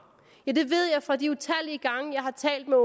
ja det ved jeg fra de utallige gange jeg har talt med